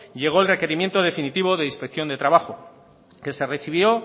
llegó el requerimiento definitivo de inspección de trabajo que se recibió